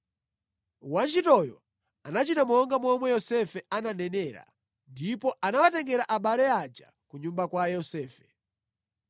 Wantchitoyo anachita monga momwe Yosefe ananenera, ndipo anawatengera abale aja ku nyumba kwa Yosefe.